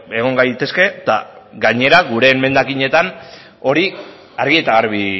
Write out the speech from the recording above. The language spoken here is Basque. egon gaitezke eta gainera gure emendakinetan hori argi eta garbi